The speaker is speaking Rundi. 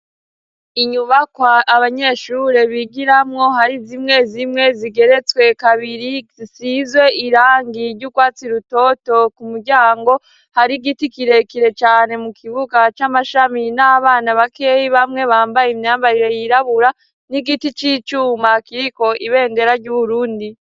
Inyubakwa abanyeshure bigiramwo hari zimwe zimwe zigeretswe kabiri zisizwe irangi ry'urwatsi rutoto ku muryango hari igiti kirekire cane mu kibuga c'amashami n'abana bakeyi bamwe bambaye imyambarire yirabura n'igiti c'icuma kiriko ibendera ry'u Burundi.